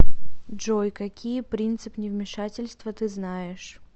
джой какие принцип невмешательства ты знаешь